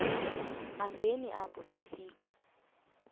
hambeni apho sifika